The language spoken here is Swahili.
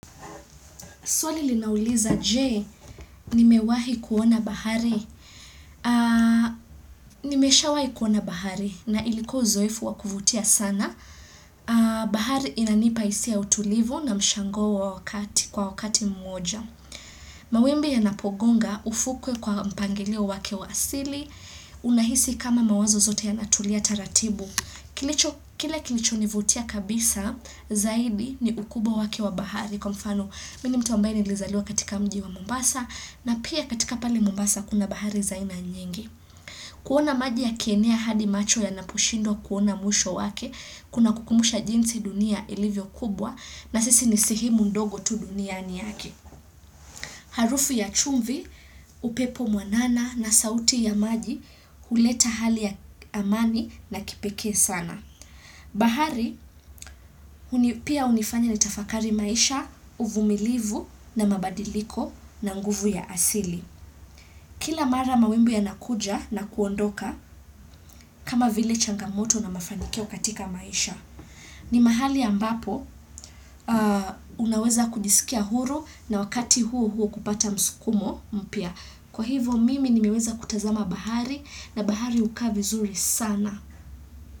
Suali linauliza, Je, nimewahi kuona bahari. Nimeshawahi kuona bahari na iliko uzoefu wakuvutia sana. Bahari inanipaisia utulivu na mshango wa wakati kwa wakati mmoja. Mawimbi yanapogonga ufukwe kwa mpangilio wake wasili. Unahisi kama mawazo zote yanatulia taratibu. Kile kilicho nivutia kabisa zaidi ni ukubwa wake wa bahari. Kwa mfano mi ni mtu ambae nilizaliwa katika mji wa Mombasa na pia katika pali Mombasa kuna bahari za aina nyingi. Kuona maji yakienea hadi macho yanapushindwa kuona muisho wake kuna kukumbusha jinsi dunia ilivyo kubwa na sisi ni sehemu ndogo tu duniani yake. Harufu ya chumvi, upepo mwanana na sauti ya maji kuleta hali ya amani na kipeke sana. Bahari, pia unifanya ni tafakari maisha, uvumilivu na mabadiliko na nguvu ya asili. Kila mara mawimbi yanakuja na kuondoka kama vile changamoto na mafanikio katika maisha. Ni mahali ambapo unaweza kujisikia huru na wakati huo huo kupata msukumo mpia. Kwa hivo mimi nimeweza kutazama bahari na bahari uka vizuri sana.